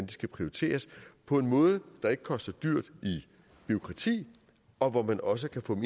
de skal prioriteres på en måde der ikke koster dyrt bureaukrati og hvor man også kan få det